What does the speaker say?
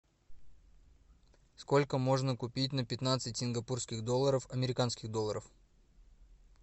сколько можно купить на пятнадцать сингапурских долларов американских долларов